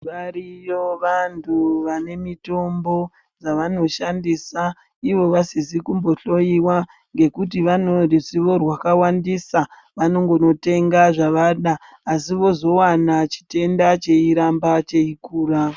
Variyo vantu vane mutombo dza vanoshandisa ivo vasizikumbohloiya ngekuti vane ruzivo rwakawandisa vanongotenga zvavada asi vozowana chitenda chyiramba cheyikura